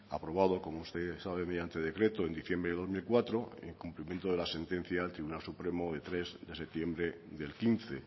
aprobada como usted sabe mediante decreto en diciembre de dos mil cuatro y el cumplimiento de la sentencia del tribunal supremo de tres de septiembre del quince